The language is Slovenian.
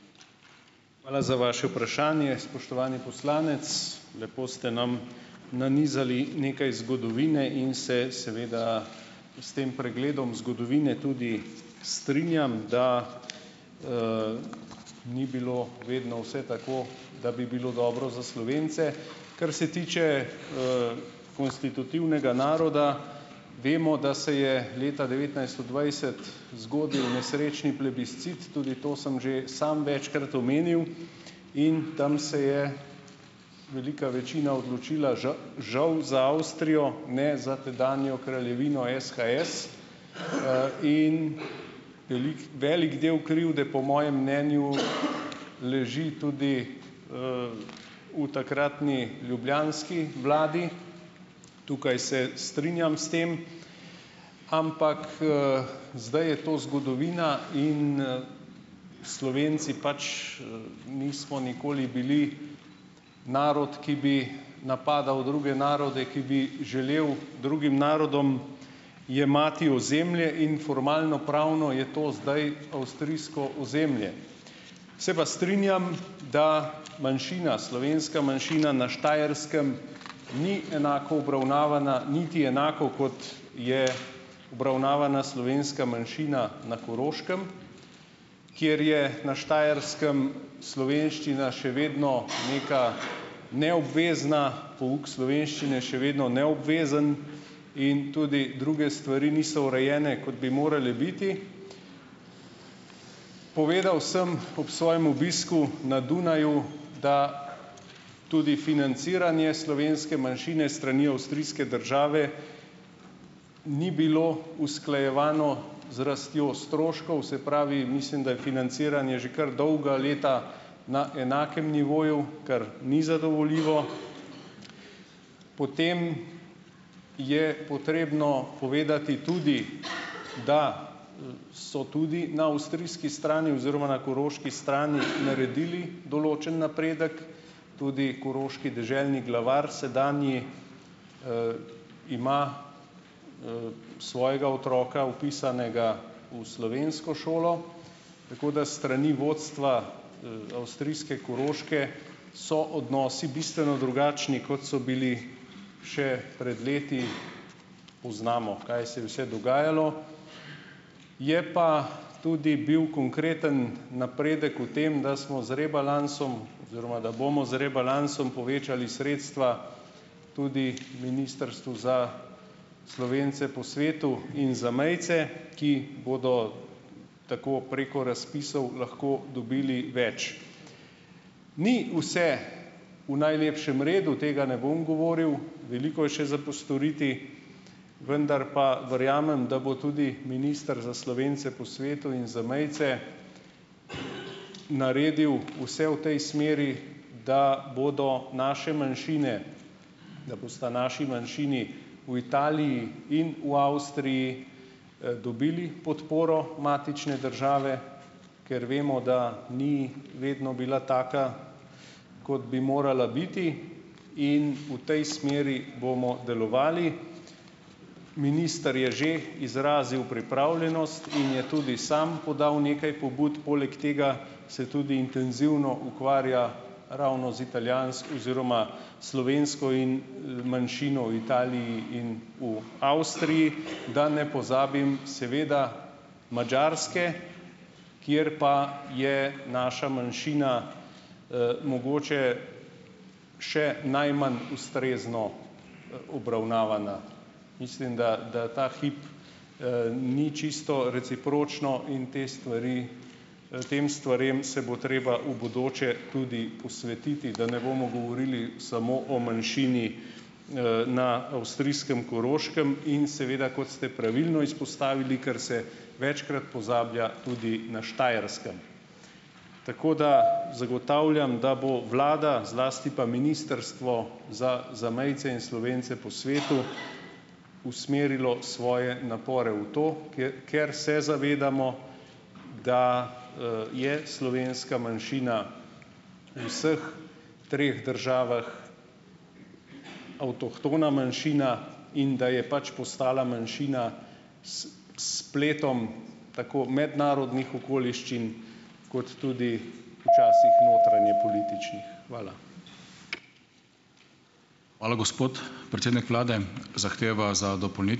Hvala za vaše vprašanje, spoštovani poslanec. Lepo sta nam nanizali nekaj zgodovine in se seveda s tem pregledom zgodovine tudi strinjam, da, ni bilo vedno vse tako, da bi bilo dobro za Slovence. Kar se tiče, konstitutivnega naroda, vemo, da se je leta devetnajststo dvajset zgodil nesrečni plebiscit. Tudi to sem že samo večkrat omenil in tam se je velika večina odločila, že, žu, za Avstrijo, ne za tedanjo Kraljevino SHS, in veliko, veliko delo krivde, po mojem mnenju, leži tudi, v takratni ljubljanski vladi. Tukaj se strinjam s tem. Ampak, zdaj je to zgodovina in, Slovenci pač, nismo nikoli bili narod, ki bi napadal druge narode, ki bi želel drugim narodom jemati ozemlje in formalnopravno je to zdaj avstrijsko ozemlje. Se pa strinjam, da manjšina, slovenska manjšina na Štajerskem ni enako obravnavana, niti enako, kot je obravnavana slovenska manjšina na Koroškem, kjer je na Štajerskem slovenščina še vedno neka neobvezna, pouk slovenščine še vedno neobvezen in tudi druge stvari niso urejene, kot bi morale biti. Povedal sem ob svojem obisku na Dunaju, da tudi financiranje slovenske manjšine s strani avstrijske države ni bilo usklajevano z rastjo stroškov, se pravi, mislim, da je financiranje že kar dolga leta na enakem nivoju, kar ni zadovoljivo. Potem je potrebno povedati tudi, da, so tudi na avstrijski strani oziroma na koroški strani naredili določen napredek. Tudi koroški deželni glavar sedanji, ima svojega otroka vpisanega v slovensko šolo. Tako da s strani vodstva, avstrijske Koroške so odnosi bistveno drugačni, kot so bili še pred leti, poznamo, kaj se je vse dogajalo. Je pa tudi bil konkreten napredek v tem, da smo z rebalansom oziroma da bomo z rebalansom povečali sredstva tudi Ministrstvu za Slovence po svetu in zamejce, ki bodo tako preko razpisov lahko dobili več. Ni vse v najlepšem redu, tega ne bom govoril. Veliko je še za postoriti. Vendar pa verjamem, da bo tudi minister za Slovence po svetu in zamejce naredil vse v tej smeri, da bodo naše manjšine, da bosta naši manjšini v Italiji in v Avstriji, dobili podporo matične države, ker vemo, da ni vedno bila taka, kot bi morala biti. In v tej smeri bomo delovali. Minister je že izrazil pripravljenost in je tudi sam podal nekaj pobud, poleg tega se tudi intenzivno ukvarja ravno z oziroma slovensko in, manjšino v Italiji in v Avstriji. Da ne pozabim, seveda, Madžarske, kateri pa je naša manjšina, mogoče še najmanj ustrezno, obravnavana. Mislim, da, da ta hip, ni čisto recipročno in te stvari, tem stvarem se bo treba v bodoče tudi posvetiti, da ne bomo govorili samo o manjšini, na avstrijskem Koroškem in seveda, kot ste pravilno izpostavili, kar se večkrat pozablja, tudi na Štajerskem. Tako da ... Zagotavljam, da bo vlada, zlasti pa Ministrstvo za zamejce in Slovence po svetu usmerilo svoje napore v to, kje, ker se zavedamo, da, je slovenska manjšina v vseh treh državah avtohtona manjšina in da je pač postala manjšina s spletom tako mednarodnih okoliščin kot tudi včasih notranjepolitičnih. Hvala.